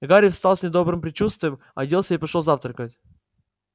и гарри встал с недобрым предчувствием оделся и пошёл завтракать